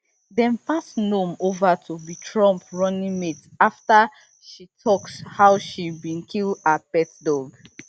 dem pass noem over to be trump running mate afta she tok how she bin kill her pet dog